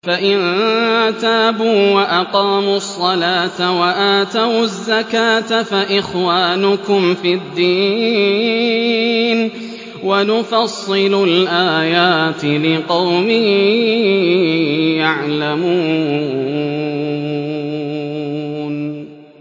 فَإِن تَابُوا وَأَقَامُوا الصَّلَاةَ وَآتَوُا الزَّكَاةَ فَإِخْوَانُكُمْ فِي الدِّينِ ۗ وَنُفَصِّلُ الْآيَاتِ لِقَوْمٍ يَعْلَمُونَ